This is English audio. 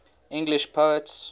english poets